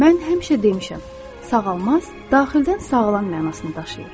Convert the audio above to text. Mən həmişə demişəm, sağalmaz daxildən sağlam mənasını daşıyır.